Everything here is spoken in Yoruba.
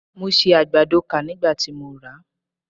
Mo si àgbàdo kà nígbà tí mo rà á.